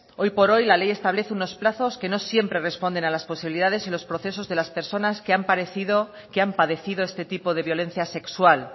hoy por hoy la ley establece unos plazos que no siempre responden a las posibilidades y los procesos de las personas que han padecido este tipo de violencia sexual